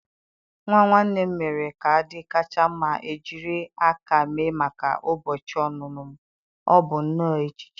Nwa nwanne m mere kaadị kacha mma ejiri aka mee maka ụbọchị ọmụmụ m. Ọ bụ nnọọ echiche.